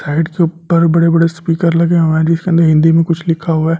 Height के ऊपर बड़े-बड़े स्पीकर लगे हुए है जिसमें हिंदी में कुछ लिखा हुआ है।